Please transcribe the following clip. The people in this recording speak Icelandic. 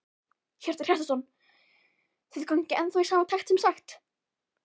Hjörtur Hjartarson: Þið gangið ennþá í takt sem sagt?